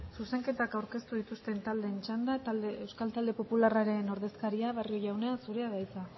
zuzenketak aurkeztu dituzten taldeen txanda euskal talde popularraren ordezkaria barrio jauna zurea da hitza